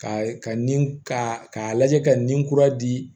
Ka ka nin k'a k'a lajɛ ka nin kura di